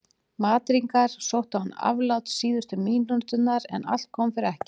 Madrídingar sóttu án afláts síðustu mínúturnar en allt kom fyrir ekki.